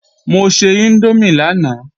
Mo se índómì lánàá